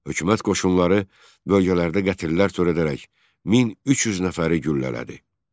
Hökumət qoşunları bölgələrdə qətillər törədərək 1300 nəfəri güllələdi.